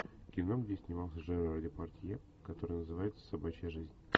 кино где снимался жерар депардье которое называется собачья жизнь